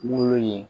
Wolo ye